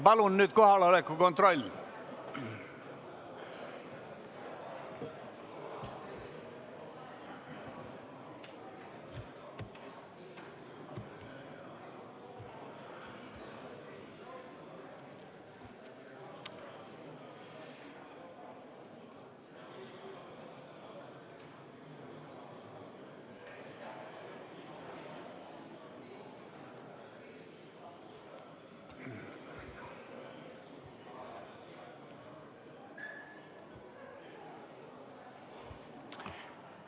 Palun teeme nüüd kohaloleku kontrolli!